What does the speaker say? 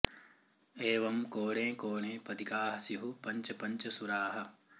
एवं कोणे कोणे पदिकाः स्युः पञ्च पञ्च सुराः